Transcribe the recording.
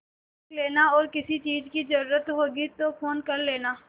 देख लेना और किसी चीज की जरूरत होगी तो फ़ोन कर लेना